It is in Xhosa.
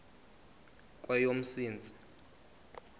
kweyomntsintsi